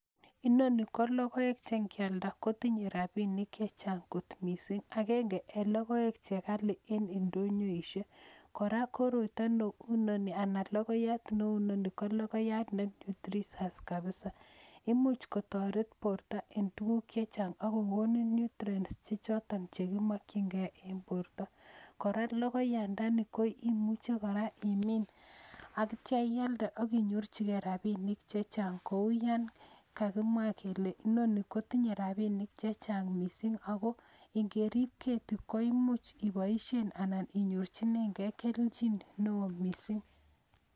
Inoni kolokoek chengialda kotinye rabinik chechang kot misingakenge en logoek chekali en ndonyoishiek koraa kokoroito Ku inoni anan ko logoiyat ne nutritious imuche kotaret borta en tuguk chechang akokonin nutrients Che choton chekimakin gei en borta, koraa logoiyandani ko imuche koraa imin en akitaya iyalde akinyorchi gei rabinik Kou yangagimwa akinyorchigei rabinik chechang Kou yangagimwa Kole Noni kotinye rabinik chechang mising akongerio keti koimuchi ibaishen anan inyorchigei kelchin Nou mising